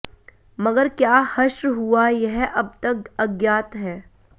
मगर क्या हश्र हुआ यह अब तक अज्ञात है